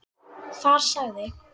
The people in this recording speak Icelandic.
Þar sagði